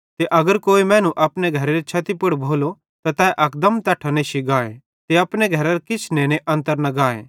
ते अगर कोई मैनू अपने घरेरे छते पुड़ भोलो त तै अकदम तैट्ठां नेश्शी गाए ते अपने घरेरां किछ नेने अन्तर न गाए ताके वक्त बरबाद न भोए